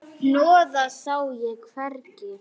Hnoðað sá ég hvergi.